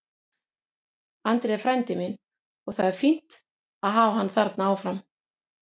Andri er frændi minn og það er fínt að hafa hann þarna áfram.